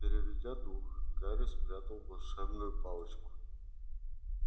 переведя дух гарри спрятал волшебную палочку